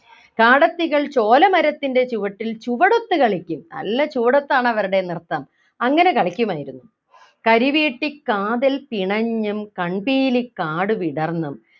കാടത്തികൾ ചോലമരത്തിൻ്റെ ചുവട്ടിൽ ചുവടൊത്തു കളിക്കും നല്ല ചുവടൊത്താണ് അവരുടെ നൃത്തം അങ്ങനെ കളിക്കുമായിരുന്നു കരിവീട്ടിക്കാതൽ പിണഞ്ഞും കൺപീലിക്കാടു വിടർന്നും